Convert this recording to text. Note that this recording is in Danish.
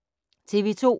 TV 2